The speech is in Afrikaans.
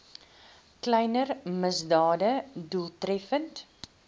kleiner misdade doeltreffend